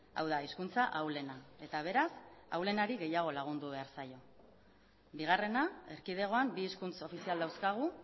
hau da hizkuntza ahulena eta beraz ahulenari gehiago lagundu behar zaio bigarrena erkidegoan bi hizkuntz ofizial dauzkagu